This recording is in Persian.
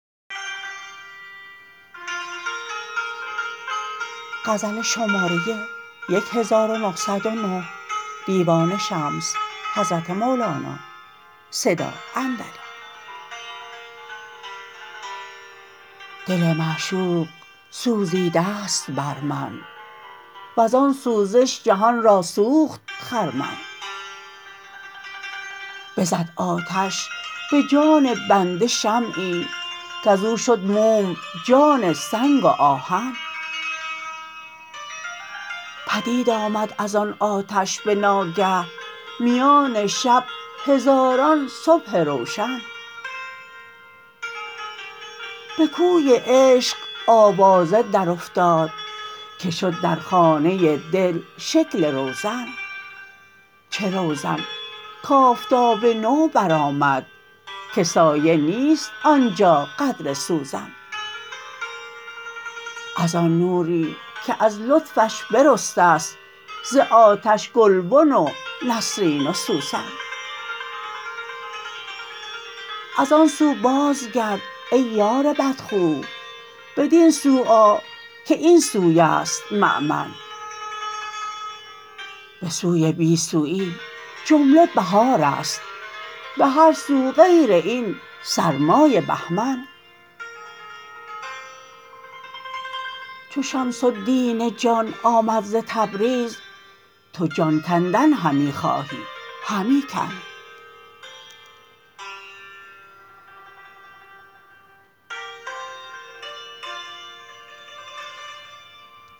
دل معشوق سوزیده است بر من وزان سوزش جهان را سوخت خرمن بزد آتش به جان بنده شمعی کز او شد موم جان سنگ و آهن پدید آمد از آن آتش به ناگه میان شب هزاران صبح روشن به کوی عشق آوازه درافتاد که شد در خانه دل شکل روزن چه روزن کآفتاب نو برآمد که سایه نیست آن جا قدر سوزن از آن نوری که از لطفش برسته ست ز آتش گلبن و نسرین و سوسن از آن سو بازگرد ای یار بدخو بدین سو آ که این سوی است مؤمن به سوی بی سوی جمله بهار است به هر سو غیر این سرمای بهمن چو شمس الدین جان آمد ز تبریز تو جان کندن همی خواهی همی کن